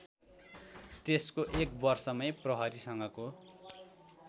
त्यसको एकवर्षमै प्रहरीसँगको